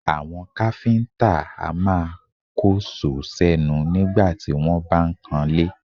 Àwọn káfíńtà a máa kóṣòó sẹ́nu nígbà tí wọ́n bá ń kanlé